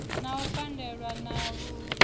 na u pandelwa ha vhashumi